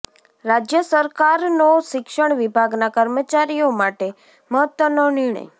રાજ્ય સરકારનો શિક્ષણ વિભાગના કર્મચારીઓ માટે મહત્વનો નિર્ણય